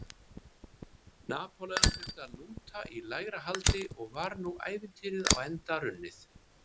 Napóleon þurfti að lúta í lægra haldi og var nú ævintýrið á enda runnið.